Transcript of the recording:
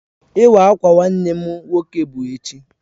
Iwa awka Nwannem nwoke bu echi